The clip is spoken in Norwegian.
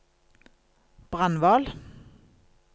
Brandval